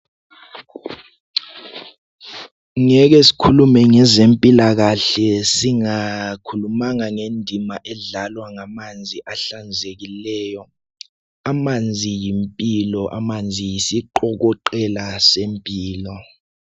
Ngeke sikhulume ngezemphilakahle singakhulumanga ngendima edlalwa ngamanzi ahlanzekileyo. Amanzi yimphilo, amanzi yisiqokoqela semphilo.